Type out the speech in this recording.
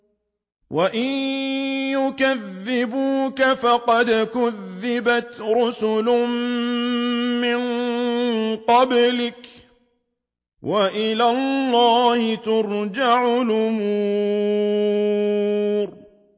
وَإِن يُكَذِّبُوكَ فَقَدْ كُذِّبَتْ رُسُلٌ مِّن قَبْلِكَ ۚ وَإِلَى اللَّهِ تُرْجَعُ الْأُمُورُ